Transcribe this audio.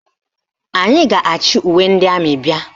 Anyị a ga-achị uwe ndị amị bịa?